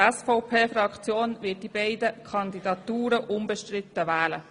Die SVP-Fraktion wird die beiden Kandidierenden unbestritten wählen.